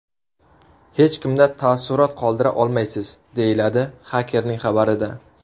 Hech kimda taassurot qoldira olmaysiz”, deyiladi xakerning xabarida.